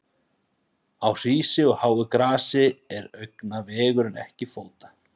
Á hrísi og háu grasi er augna vegur en ekki fóta.